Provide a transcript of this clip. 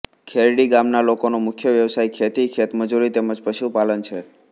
ખેરડી ગામના લોકોનો મુખ્ય વ્યવસાય ખેતી ખેતમજૂરી તેમ જ પશુપાલન છે